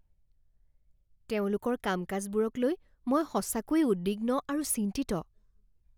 তেওঁলোকৰ কাম কাজবোৰক লৈ মই সঁচাকৈয়ে উদ্বিগ্ন আৰু চিন্তিত।